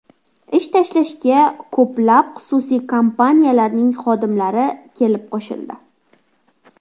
Ish tashlashga ko‘plab xususiy kompaniyalarning xodimlari kelib qo‘shildi.